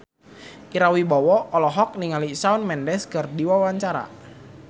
Ira Wibowo olohok ningali Shawn Mendes keur diwawancara